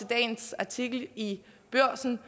dagens artikel i børsen